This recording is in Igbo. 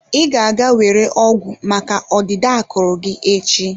Ị ga-aga were ọgwụ maka ọdịda akụrụ gị echi?